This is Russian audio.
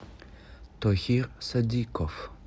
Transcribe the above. тохир содиков